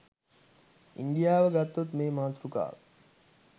ඉන්දියාව ගත්තොත් මේ මාතෘකාව